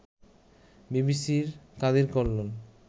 বিবিসির কাদির কল্লোল